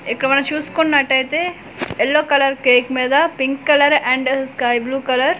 ఇక్కడ మనం చూసుకున్నాటైతే యెల్లో కలర్ కేక్ మీద pink colour and sky blue colour --